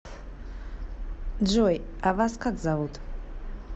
джой а вас как зовут